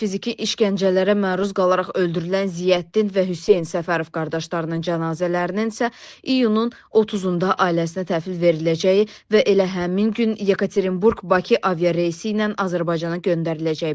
Fiziki işgəncələrə məruz qalaraq öldürülən Ziyəddin və Hüseyn Səfərov qardaşlarının cənazələrinin isə iyunun 30-da ailəsinə təhvil veriləcəyi və elə həmin gün Yekaterinburq-Bakı aviareysi ilə Azərbaycana göndəriləcəyi bildirilib.